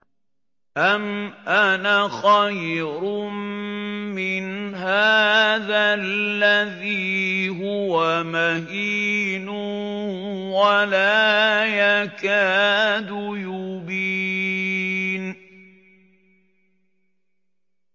أَمْ أَنَا خَيْرٌ مِّنْ هَٰذَا الَّذِي هُوَ مَهِينٌ وَلَا يَكَادُ يُبِينُ